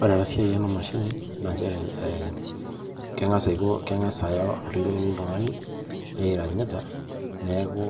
Ore ena siai ena emashini naa inchere ee, kengas aiko, kengas ayau oltungani oranyita, naaku